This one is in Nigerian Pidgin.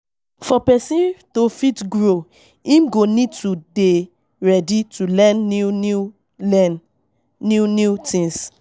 For person to fit grow, im go need to dey ready to learn new new learn new new things